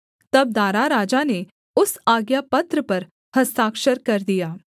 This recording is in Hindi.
तब दारा राजा ने उस आज्ञापत्र पर हस्ताक्षर कर दिया